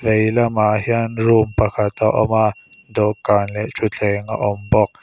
lamah hian room pakhat a awm a dawhkan leh thuthleng a awm bawk.